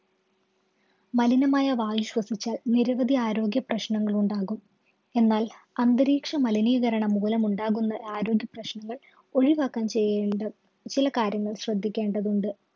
മലിനമായ വായു ശ്വസിച്ചാല്‍ നിരവധി ആരോഗ്യപ്രശ്നങ്ങള്‍ ഉണ്ടാകും. എന്നാല്‍ അന്തരീക്ഷ മലിനീകരണം മൂലമുണ്ടാകുന്ന ആരോഗ്യപ്രശ്നങ്ങള്‍ ഒഴിവാക്കാന്‍ ചെയ്യേണ്ട ചില കാര്യങ്ങള്‍ ശ്രദ്ധിക്കേണ്ടതുണ്ട്.